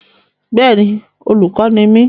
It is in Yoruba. Bẹ́è ni, olùkọ́ ni mí.